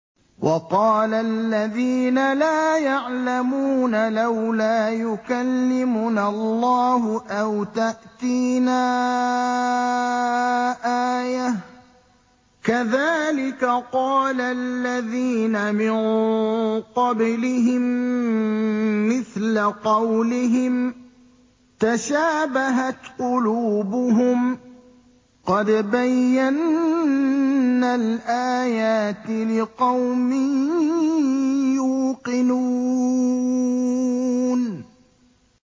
وَقَالَ الَّذِينَ لَا يَعْلَمُونَ لَوْلَا يُكَلِّمُنَا اللَّهُ أَوْ تَأْتِينَا آيَةٌ ۗ كَذَٰلِكَ قَالَ الَّذِينَ مِن قَبْلِهِم مِّثْلَ قَوْلِهِمْ ۘ تَشَابَهَتْ قُلُوبُهُمْ ۗ قَدْ بَيَّنَّا الْآيَاتِ لِقَوْمٍ يُوقِنُونَ